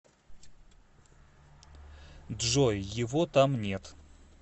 джой его там нет